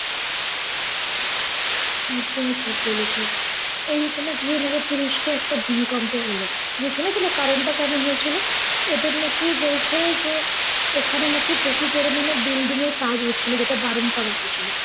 একদমই ঠিক বলেছ। এই যে তুমি ধিরে ধিরে তুরস্কে একটা ভুমিকম্প হল, তুমি শুনেছিলে কারণটা কেন হয়েছিল? ওদের নাকি বলছে যে ওখানে নাকি প্রচুর বড় মানে building এর কাজ হচ্ছিল যেটা বারন করা হয়েছিল।